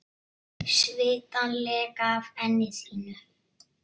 Svitann leka af enni þínu.